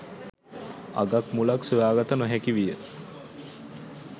අගක් මුලක් සොයාගත නොහැකි විය.